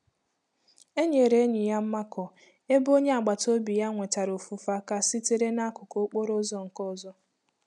Enyere enyi ya mmakọ, ebe onye agbata obi ya nwetara ofufe aka sitere n'akụkụ okporo ụzọ nke ọzọ.